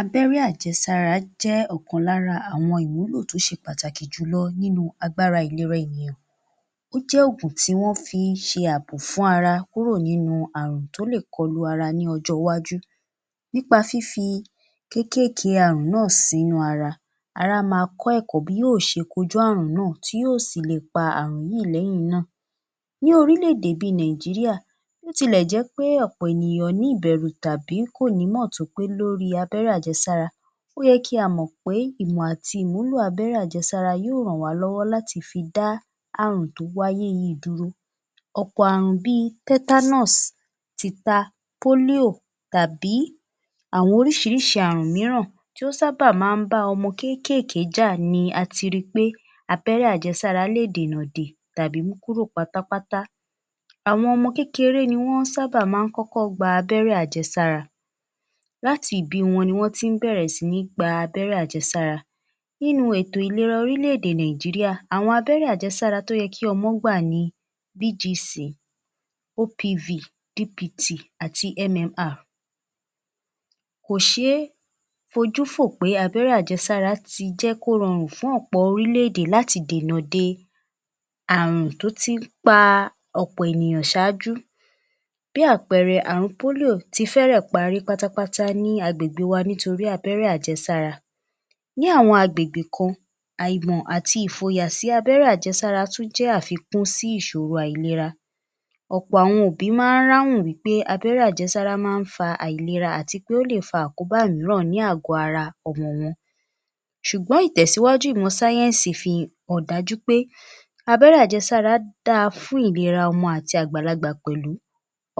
Abẹ́rẹ́ ajẹ́sára jẹ́ ọ̀kan lára àwọn ìwúlò tó ṣe pàtàkì jù lọ nínú agbára ìlera ènìyàn. Ó jẹ́ ògùn tí wọ́n fí ń ṣe àbò fún ara kúrò nínú àrùn tó lè kọlu ara ní ọjọ́ iwájú. Nípa fifi kékèèké àrùn náà sínú ara, ará máa kọ́ ẹ̀kọ́ bí yóò ṣe kojú àrùn náà tí yóò si lè pa àrùn yìí lẹ́yìn náà. Ní orílè-èdè bí i Nàìjíríà, bó tilẹ̀ jẹ́ pé ọ̀pọ̀ ènìyàn ní ìbẹ̀rù tàbí kò nímọ̀ tó pé lórí abẹ́rẹ́ ajẹsára, ó yẹ kí a mọ̀ pé ìmọ̀ àti ìwúlò abẹ́rẹ́ ajẹsára yóò ràn wá lọ́wọ́ láti fi dá àrùn tó wáyé yìí dúró. Ọ̀pọ̀ àrùn bí i tetanus, tìta, polio tàbí àwọn oríṣiríṣi àrùn mìíràn tó sábà máa ń bá ọmọ kékèèké jà ni ati rí pé abẹ́rẹ́ ajẹsára lè dènà dè tàbí mú kúrò pátápátá. Àwọn ọmọ kékeré ni wọ́n sábà máa ń kọ́kọ́ gba abẹ́rẹ́ ajẹsára láti ìbí wọn ni wọ́n tí ń bẹ̀rẹ̀ sí ní gba abẹ́rẹ́ ajẹsára. Nínú ètò ìlera orílè-èdè Nàìjíríà, àwọn abẹ́rẹ́ ajẹsára tó yẹ kí ọmọ gbà ni BGC, OPV, DPT, àti MMR. Kò ṣeé fojú fò pé abẹ́rẹ́ ajẹsára ti jẹ́ kó rọrùn fún ọ̀pọ̀ orílè-èdè láti dènà de àrùn tó tí ń pa ọ̀pọ̀ ènìyàn ṣáájú. Bí àpẹẹrẹ, àrùn polio ti fẹ́rẹ̀ parí pátápátá ní agbègbè wa nítorí abẹ́rẹ́ ajẹsára. Ní àwọn agbègbè kan, àìmọ̀ àti ìfòyà sí abẹ́rẹ́ ajẹsára tún jẹ́ àfikún sí ìṣòro àìlera. Ọ̀pọ̀ àwọn òbí máa ń ráhùn wí pé abẹ́rẹ́ ajẹsára máa ń fa àìlera àti pé ó lè fa àkóbá òmíràn ní àgò-ara ọmọ wọn. Ṣùgbọ́n ìtẹ̀síwájú ìmọ̀ sáyẹ̀nsì fi hàn dájú pé abẹ́rẹ́ ajẹsára da fún ìlera ọmọ àti àgbàlagbà pẹ̀lú.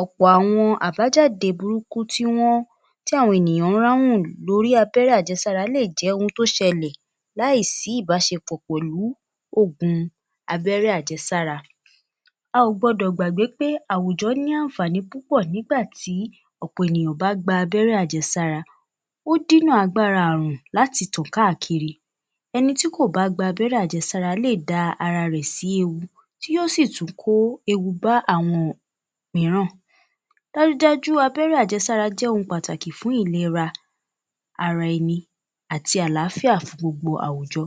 Ọ̀pọ̀ àwọn àbájáde burúkú tí wọ́n tí àwọn ènìyàn ń ráhùn lórí abẹ́rẹ́ ajẹsára lè jẹ́ ohun tó ṣẹlẹ̀ láì sí ìbáṣepọ̀ pẹ̀lú ògùn abẹ́rẹ́ ajẹsára. A ò gbọ́dọ̀ gbàgbé pé àwùjọ ní àǹfààní púpọ̀ nígbà tí ọ̀pọ̀ ènìyàn bá gba abẹ́rẹ́ ajẹsára. Ó dínà agbára àrùn láti tàn káàkiri. Ẹnití kò bá gba abẹ́rẹ́ ajẹsára lè da ara rẹ̀ sí ewu tí yóò tún kó ewu bá àwọn òmíràn. Dájúdájú abẹ́rẹ́ ajẹsára jẹ́ ohun pàtàkì fún ìlera ara ẹni àti àlàáfíà fún gbogbo àwùjọ.